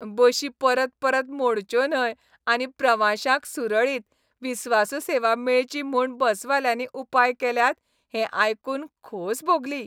बशी परपरत मोडच्यो न्हय आनी प्रवाशांक सुरळीत, विस्वासू सेवा मेळची म्हूण बसवाल्यांनी उपाय केल्यात हें आयकून खोस भोगली.